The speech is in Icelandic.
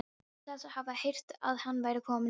Hún sagðist hafa heyrt að hann væri kominn með konu.